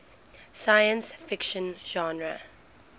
science fiction genre